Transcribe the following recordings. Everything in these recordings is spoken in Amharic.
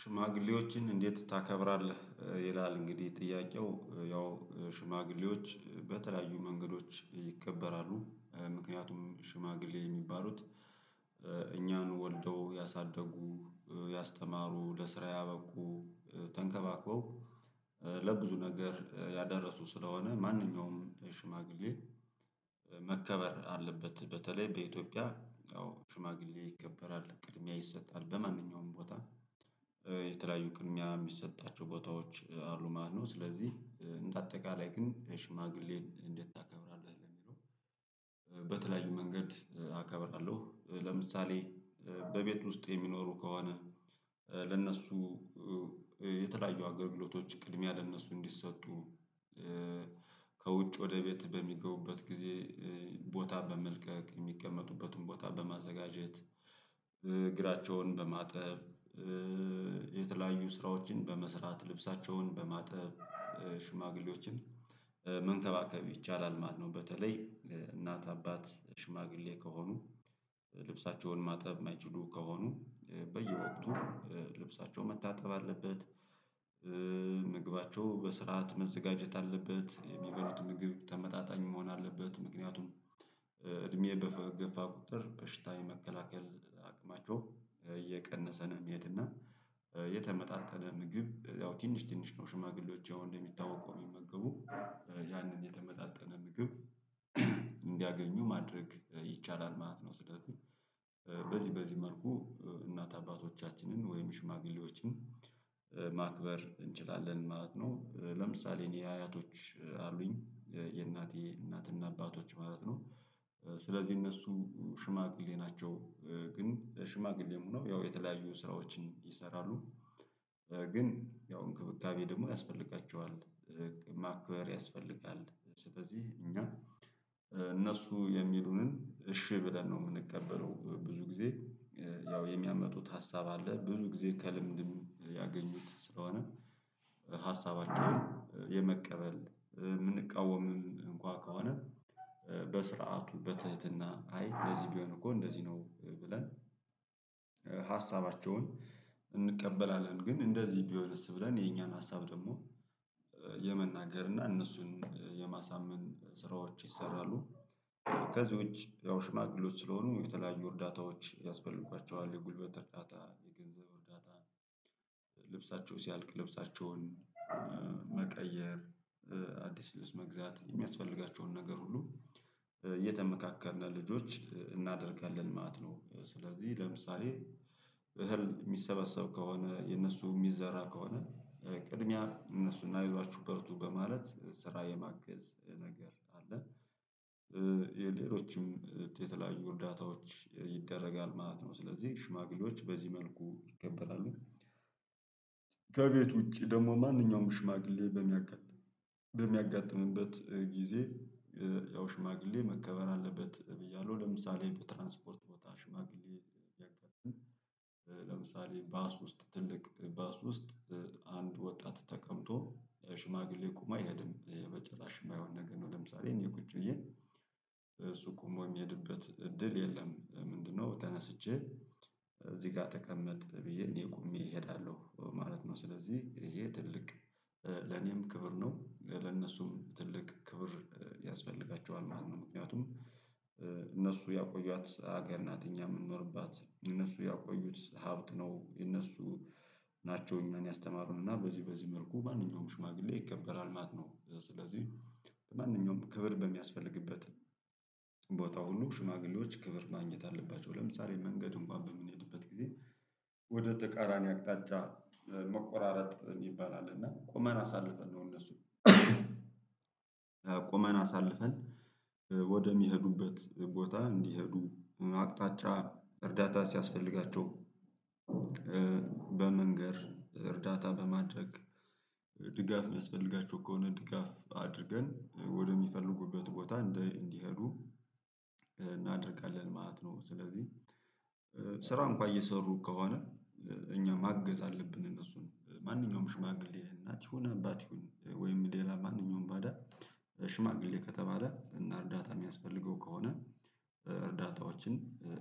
ሽማግሌዎችን እንዴት ታከብራለህ? ይላል እንግዲህ ጥያቄው ያው ሽማግሌዎች በተለያዩ መንገዶች ይከበራሉ ምክንያቱም ሽማግሌ የሚባሉት። እኛን ወልደው ያሳደጉ ያስተማሩ ለስራ ያበቁ። ተንከባክበው ለብዙ ነገር ያደረሱ ስለሆነ ማንኛውም ሽማግሌ። መከበር አለበት በተለይ በኢትዮጵያ ሽማግሌ ይከበራል ቅድሚያ ይሰጣል በማንኛውም ቦታ። የተለያዩ ቅድሚያ የሚሰጣቸው ቦታዎች አሉ ማለትነው። ስለዚህ እንደ አጠቃላይ ግን ሽማግሌን እንዴት ታከብራለህ ለሚለው? በተለያዩ መንገድ አከብራለሁ። ለምሳሌ በቤት ውስጥ የሚኖሩ ከሆነ ለእነሱ የተለያዩ አገልግሎቶች ቅድሚያ ለእነሱ እንዲሰጡ። ከውጭ ወደ ቤት በሚገቡበት ጊዜ። ቦታ በመልቀቅ የሚቀመጡበትን ቦታ በማዘጋጀት። እግራቸውን በማጠብ የተለያዩ ስራዎችን በመስራት ልብሳቸውን በማጠብ። ሽማግሌዎችን መንከባከብ ይቻላል ማለት ነው። በተለይ እናት አባት ሽማግሌ ከሆኑ ልብሳቸውን ማጠብ የማይችሉ ከሆኑ በየወቅቱ ልብሳቸው መታጠብ አለበት። ምግባቸው በስርዓት መዘጋጀት አለበት የሚበሉት ምግብ ተመጣጣኝ መሆን አለበት። ምክንያቱም እድሜ በገፋ ቁጥር በሽታ የመከላከል አቅማቸው እየቀነሰ ነው የሚሄድ እና። የተመጣጠነ ምግብ ያው ትንሽ ትንሽ ነው። ሽማግሌዎች ያው እንደሚታወቀው የሚመገቡ ያንን የተመጣጠነ ምግብ። እንዲያገኙ ማድረግ ይቻላል ማለት ነው። ስለዚህ በዚህ በዚህ መልኩ እናት አባቶቻችንን ወይም ሽማግሌዎችን ማክበር እንችላለን ማለት ነው። ለምሳሌ እኔ አያቶች አሉኝ የእናቴ እናትና አባቶች ማለት ነው። ስለዚህ እነሱ ሽማግሌ ናቸው። ግን ሽማግሌም ሆነው ያው የተለያዩ ስራዎችን ይሰራሉ። ግን ያው እንክብካቤ ደግሞ ያስፈልጋቸዋል ማክበር ያስፈልጋል። ስለዚህ እኛ እነሱ የሚሉንን እሺ ብለን ነው የምንቀበለው ብዙ ጊዜ። ያው የሚያመጡት ሀሳብ አለ ብዙ ጊዜ ከልምድም ያገኙት ስለሆነ ሀሳባቸውን የመቀበል የምንቃወምም እንኳን ከሆነ። በስርዓቱ በትህትና አይ እንደዚህ ቢሆን እኮ እንደዚህ ነው ብለን። ሀሳባቸውን እንቀበላለን ግን እንደዚህ ቢሆንስ ብለን የኛን ሀሳብ ደግሞ። የመናገር እና እነሱን የማሳመን ስራዎች ይሰራሉ። ከዚህ ውጪ ያው ሽማግሌዎች ስለሆኑ የተለያዩ እርዳታዎች ያስፈልጓቸዋል የጉልበት እርዳታ የገንዘብ እርዳታ። ልብሳቸው ሲያልቅ ልብሳቸውን መቀየር አዲስ ልብስ መግዛት የሚያስፈልጋቸውን ነገር ሁሉ እየተመካከርን ልጆች እናደርጋለን ማለት ነው። ስለዚህ ለምሳሌ እህል የሚሰበሰብ ከሆነ የነሱ የሚዘራ ከሆነ ቅድሚያ እነሱን አይዟችሁ በርቱ በማለት ስራ የማገዝ ነገር አለ። የሌሎችም የተለያዩ እርዳታዎች ይደረጋል ማለት ነው። ስለዚህ ሽማግሌዎች በዚህ መልኩ ይከበራሉ። ከቤት ውጪ ደግሞ ማንኛውም ሽማግሌ በሚያጋጥምበት ጊዜ ያው ሽማግሌ መከበር አለበት። ብያለሁ ለምሳሌ በትራንስፖርት ቦታ ሽማግሌ ያከብርን። ለምሳሌ ባስ ውስጥ ትልቅ ባስ ውስጥ አንድ ወጣት ተቀምጦ ሽማግሌ ቁሞ አይሄድም ይሄ በጭራሽ የማይሆን ነገር ነው። ለምሳሌ እኔ ቁጭ ብዬ እሱ ቆሞ የሚሄድበት እድል የለም። ምንድነው? ተነስቼ እዚህ ጋር ተቀመጥ ብዬ እኔ ቆሜ እሄዳለሁ ማለት ነው። ስለዚህ ይሄ ትልቅ ለኔም ክብር ነው ለነሱም ትልቅ ክብር ያስፈልጋቸዋል ማለት ነው። ምክንያቱም እነሱ ያቆዩዋት ሀገር ናት። እኛ የምንኖርባት እነሱ ያቆዩት ሀብት ነው። እነሱ ናቸው። እኛን ያስተማሩንና በዚህ በዚህ መልኩ ማንኛውም ሽማግሌ ይከበራል ማለት ነው። ስለዚህ በማንኛውም ክብር በሚያስፈልግበት ቦታ ሁሉ ሽማግሌዎች ክብር ማግኘት አለባቸው። ለምሳሌ መንገድ እንኳን በምንሄድበት ጊዜ ወደ ተቃራኒ አቅጣጫ መቆራረጥ ይባላል። እና ቁመን አሳልፈን ነው እነሱን ቁመን አሳልፈን ወደሚሄዱበት ቦታ እንዲሄዱ አቅጣጫ እርዳታ ሲያስፈልጋቸው። በመንገር እርዳታ በማድረግ ድጋፍ የሚያስፈልጋቸው ከሆነ ድጋፍ አድርገን ወደሚፈልጉበት ቦታ እንዲሄዱ እናደርጋለን ማለት ነው። ስለዚህ ስራ እንኳን እየሰሩ ከሆነ እኛ ማገዝ አለብን። እነሱን ማንኛውም ሽማግሌ እናት ይሁን አባት ይሁን ወይም ሌላ ማንኛውም ባዳ ሽማግሌ ከተባለ እና እርዳታ የሚያስፈልገው ከሆነ። እርዳታዎችን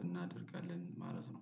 እናደርጋለን ማለት ነው